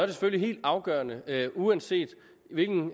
selvfølgelig helt afgørende uanset hvilken